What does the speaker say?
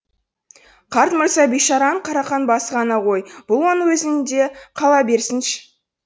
қарт мырза бейшараның қарақан басы ғана ғой бұл оның өзінде қала берсінші